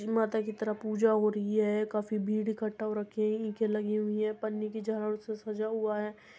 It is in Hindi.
माता की तरह पूजा हो रही है काफी भीड़ इकट्ठा हो रखी है। इखे लगी हुइ हैं। पन्नी की झालो से सजा हुआ है।